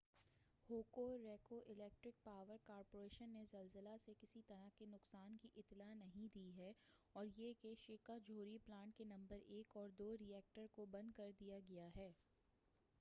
ہوکو Electric Power Corporation نے زلزلہ سے کسی طرح کے نقصان کی اطلاع نہیں دی ہے اور یہ کہ شیکا جوہری پلانٹ کے نمبر 1 اور 2 ری ایکٹر کو بند کر دیا گیا ہے